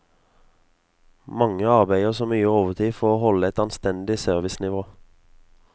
Mange arbeider nå mye overtid for å holde et anstendig servicenivå.